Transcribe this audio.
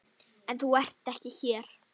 En þú ert ekki hér.